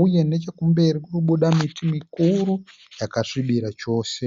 Uye nechekumberi kuri kubuda miti mikuru yakasvibira chose.